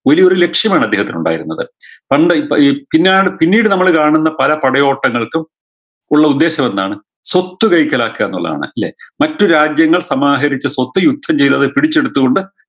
വലിയൊരു ലക്ഷ്യമാണ് അദ്ദേഹത്തിനുണ്ടായിരുന്നത് പണ്ട് ഈ പി പിന്നാട് പിന്നീട് നമ്മള് കാണൂന്ന പല പടയോട്ടങ്ങൾക്കും ഉള്ള ഉദ്ധേശമെന്താണ് സ്വത്ത് കൈക്കലാക്കുക എന്നുള്ളതാണ് അല്ലേ മറ്റു രാജ്യങ്ങൾ സമാഹരിച്ച സ്വത്ത് യുദ്ധം ചെയ്തവർ പിടിച്ചെടുത്തു കൊണ്ട്